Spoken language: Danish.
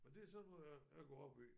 Og det er sådan noget jeg jeg går op i